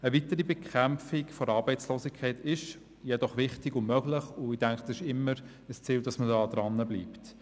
Eine weitere Bekämpfung der Arbeitslosigkeit ist jedoch wichtig und möglich, und ich denke, es ist immer ein Ziel, dranzubleiben.